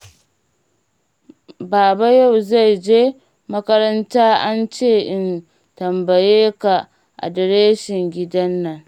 Baba yau zan je makaranta an ce in tambaye ka adireshin gidan nan.